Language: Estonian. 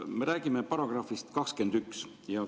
Me räägime §‑st 21.